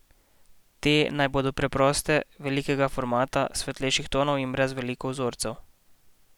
Te naj bodo preproste, velikega formata, svetlejših tonov in brez veliko vzorcev.